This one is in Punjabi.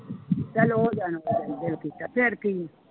ਚੱਲ ਉਹ ਜਾਣੇ ਦਿਲ ਕੀਤਾ ਫਿਰ ਕੀ।